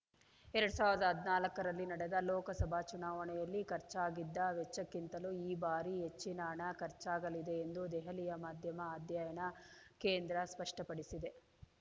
ಎರಡ್ ಸಾವಿರದ ಹದಿನಾಲ್ಕ ರಲ್ಲಿ ನಡೆದ ಲೋಕಸಭಾ ಚುನಾವಣೆಯಲ್ಲಿ ಖರ್ಚಾಗಿದ್ದ ವೆಚ್ಚಕ್ಕಿಂತಲೂ ಈ ಬಾರಿ ಹೆಚ್ಚಿನ ಹಣ ಖರ್ಚಾಗಲಿದೆ ಎಂದು ದೆಹಲಿಯ ಮಾಧ್ಯಮ ಅಧ್ಯಯನ ಕೇಂದ್ರ ಸ್ಪಷ್ಟಪಡಿಸಿದೆ